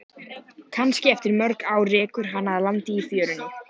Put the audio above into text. Kannski eftir mörg ár rekur hana að landi í fjörunni.